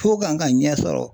F'o kan ka ɲɛ sɔrɔ